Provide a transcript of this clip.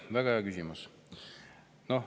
Väga hea küsimus.